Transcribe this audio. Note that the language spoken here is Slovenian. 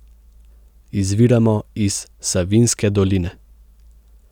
Izviramo iz Savinjske doline.